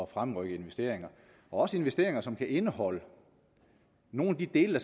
fremrykke investeringer også investeringer som kan indeholde nogle af de dele